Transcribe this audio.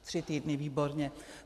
Tři týdny, výborně.